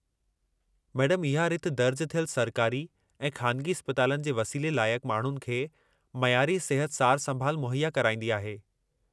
मैडमु, इहा रिथ दर्ज थियलु सरकारी ऐं ख़ानिगी इस्पतालनि जे वसीले लाइक़ माण्हुनि खे मयारी सिहत सार-संभाल मुहैया कराईंदी आहे।